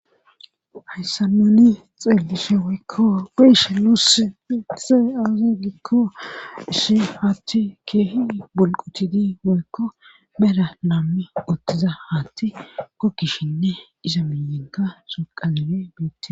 Hayssanoni xeellishe woykko geshe lus itise aazu gikko ishi faathi keehi bulqutidi woykko bera naammi uttiza haatti kokkishinne iza minyenta soqazibe biitee